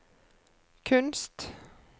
kunst